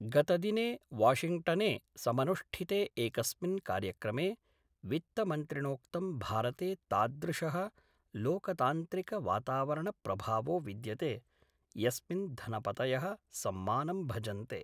गतदिने वॉशिंग्टने समनुष्ठिते एकस्मिन् कार्यक्रमे वित्तमन्त्रिणोक्तं भारते तादृशः लोकतान्त्रिक वातावरणप्रभावो विद्यते यस्मिन् धनपतयः सम्मानं भजन्ते।